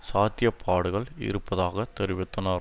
சாத்தியப்பாடுகள் இருப்பதாக தெரிவித்தனர்